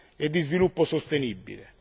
e di sviluppo sostenibile.